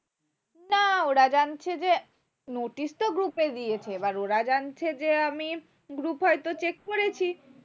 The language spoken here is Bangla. না ওরা যাচ্ছে যে notice তো group এ দিয়েছে এবার ওরা যাচ্ছে যে আমি group হয়তো check করেছি